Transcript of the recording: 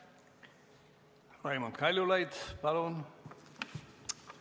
Raimond Kaljulaid, palun!